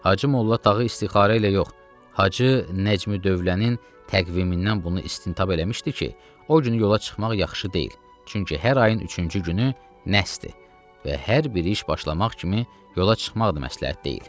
Hacı Molla Tağı istixarə ilə yox, Hacı Nəcmi Dövlənin təqvimindən bunu istintab eləmişdi ki, o günü yola çıxmaq yaxşı deyil, çünki hər ayın üçüncü günü nəhsdir və hər bir iş başlamaq kimi yola çıxmaq da məsləhət deyil.